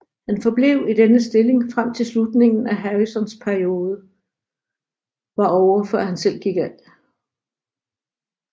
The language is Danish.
Han forblev i denne stilling frem til slutningen af Harrisons periode var ovre før han selv gik af